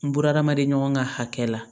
N buna hadamaden ɲɔgɔn ka hakɛ la